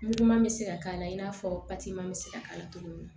Muguman bɛ se ka k'a la i n'a fɔ pa bɛ se ka k'a la cogo min na